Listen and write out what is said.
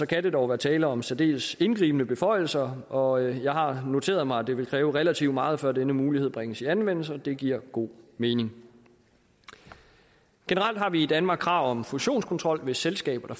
kan der dog være tale om særdeles indgribende beføjelser og jeg har noteret mig at det vil kræve relativt meget før denne mulighed bringes i anvendelse og det giver god mening generelt har vi i danmark krav om fusionskontrol hvis selskaber